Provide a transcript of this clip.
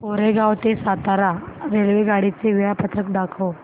कोरेगाव ते सातारा रेल्वेगाडी चे वेळापत्रक दाखव